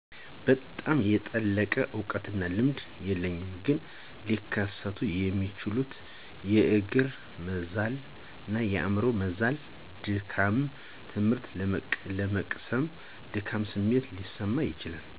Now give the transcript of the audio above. በጣም የጠለቀ እውቀትና ልምድ የለኝም ግን ሊከሰቱ የሚችሉት የእግር መዛል፣ የአምሮ መዛልና ድካም፣ ትምህርት ለመቅሰም የድካም ስሜት ሊሰማው ይችላል።